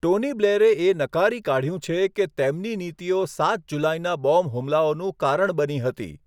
Tony બ્લેરે એ નકારી કાઢ્યું છે કે તેમની નીતિઓ સાત જુલાઈના બોમ્બ હુમલાઓનું કારણ બની હતી.